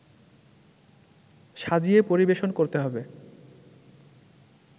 সাজিয়ে পরিবেশন করতে হবে